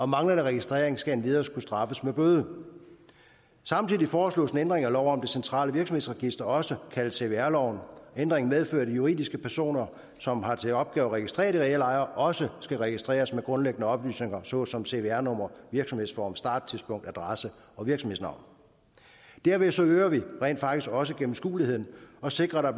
manglende registrering skal endvidere kunne straffes med bøde samtidig foreslås en ændring af lov om det centrale virksomhedsregister også kaldet cvr loven ændringen medfører at de juridiske personer som har til opgave at registrere de reelle ejere også skal registreres med grundlæggende oplysninger såsom cvr nummer virksomhedsform starttidspunkt adresse og virksomhedsnavn derved øger vi rent faktisk også gennemskueligheden og sikrer at